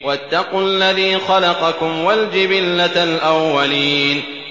وَاتَّقُوا الَّذِي خَلَقَكُمْ وَالْجِبِلَّةَ الْأَوَّلِينَ